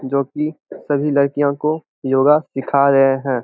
जो कि सभी लड़कियों को योगा सीखा रहे है।